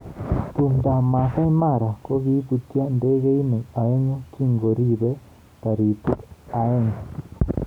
Tumdab Masaai Mara: Koibutyo ndegeinik aengu kingorieb taritik aeng